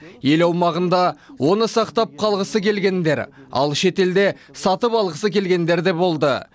ел аумағында оны сақтап қалғысы келгендер ал шетелде сатып алғысы келгендер де болды